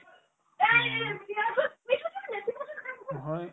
হয়